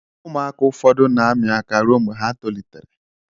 ụmụaka ụfọdụ na ami aka rụọ mgbe ha tolitere.